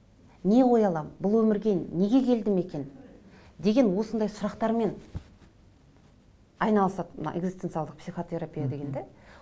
не қоя аламын бұл өмірге неге келдім екен деген осындай сұрақтармен айнылысатын экзистенциялық психотерапия деген де